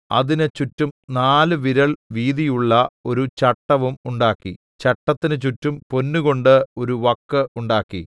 അതിന് ചുറ്റും നാല് വിരൽ വീതിയുള്ള ഒരു ചട്ടവും ഉണ്ടാക്കി ചട്ടത്തിന് ചുറ്റും പൊന്നുകൊണ്ട് ഒരു വക്ക് ഉണ്ടാക്കി